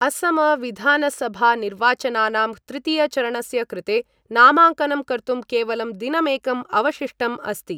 असम विधानसभानिर्वाचनानां तृतीय चरणस्य कृते नामाङ्कनं कर्तुं केवलं दिनमेकम् अवशिष्टम् अस्ति।